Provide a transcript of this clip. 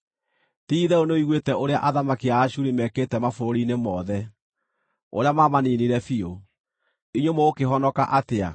Ti-itherũ nĩũiguĩte ũrĩa athamaki a Ashuri mekĩte mabũrũri-inĩ mothe, ũrĩa maamaniinire biũ. Inyuĩ mũgũkĩhonoka atĩa?